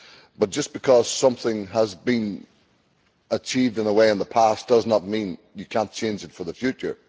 but just because something has been achieved in one way in the past does not mean you cannot change it for the future.